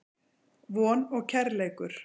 Von og Kærleikur.